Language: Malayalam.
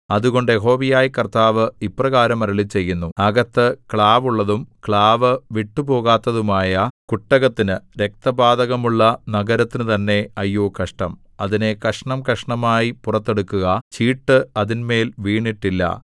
അതുകൊണ്ട് യഹോവയായ കർത്താവ് ഇപ്രകാരം അരുളിച്ചെയ്യുന്നു അകത്ത് ക്ലാവുള്ളതും ക്ലാവു വിട്ടുപോകാത്തതുമായ കുട്ടകത്തിന് രക്തപാതകമുള്ള നഗരത്തിനു തന്നെ അയ്യോ കഷ്ടം അതിനെ കഷണംകഷണമായി പുറത്തെടുക്കുക ചീട്ട് അതിന്മേൽ വീണിട്ടില്ല